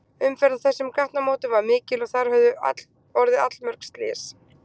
Umferð á þessum gatnamótum var mikil og þar höfðu orðið allmörg slys.